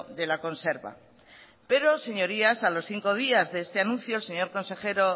de la conserva pero señorías a los cinco días de este anuncio el señor consejero